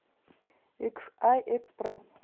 иксай экспресс